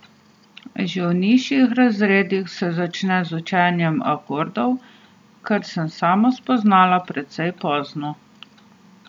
Že v nižjih razredih se začne z učenjem akordov, kar sem sama spoznala precej pozno.